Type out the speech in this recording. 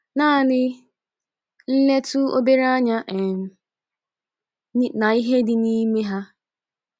Naanị nletụ obere anya um n'ihe ndị dị n’ime ha.